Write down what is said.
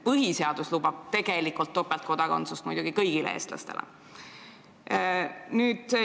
Põhiseadus lubab tegelikult topeltkodakondsust kõigile eestlastele.